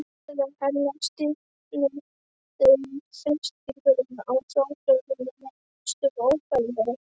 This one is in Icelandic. Herðar hennar stífnuðu og þrýstingurinn á þvagblöðruna varð næstum óbærilegur.